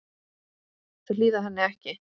Þau hlýða henni ekki.